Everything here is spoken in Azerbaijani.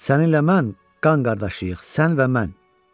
Səninlə mən qan qardaşıyıq, sən və mən.